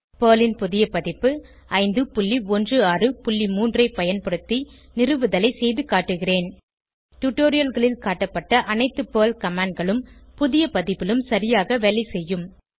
Perl ன் புதிய பதிப்பு 5163 ஐ பயன்படுத்தி நிறுவுதலை செய்துகாட்டுகிறேன் டுடோரியல்களில் காட்டப்பட்ட அனைத்து பெர்ல் commandகளும் புதிய பதிப்பிலும் சரியாக வேலை செய்யும்